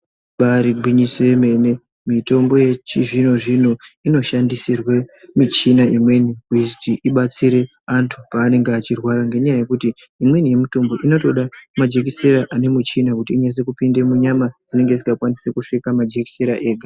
Ibari gwinyiso remene mene mitombo yechizvino zvino inoshandisirwa michina imweni ibatsire antu panenge achirwara ngekuti imweni yemitombo inotoda majekiseni ane michini inyaso kupinda munyama anenge asinga svika majekisera ega.